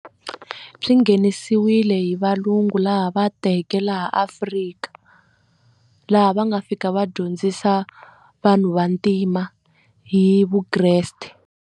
Swi nghenisiwile hi valungu laha va teke laha Afrika laha va nga fika va dyondzisa vanhu va ntima hi vukreste.